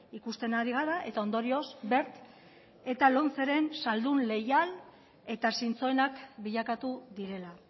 ikusten ari gara eta ondorio wert eta lomceren saldu leial eta zintzoenak bilakatu direla